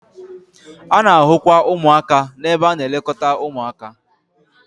A na-ahụkwa ụmụaka n'ebe a na-elekọta ụmụaka